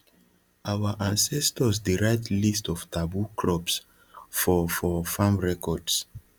our ancestors dey write list of taboo crops for for farm records